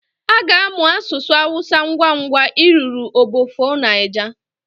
Aga amụ asụsụ awusa ngwangwa ị ruru obofo Niger